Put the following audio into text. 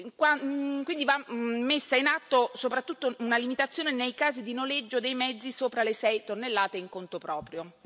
va quindi messa in atto, soprattutto, una limitazione nei casi di noleggio dei mezzi sopra le 6 tonnellate in conto proprio.